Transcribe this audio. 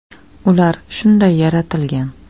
Ular shunday yaratilgan.